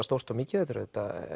stórt og mikið þetta er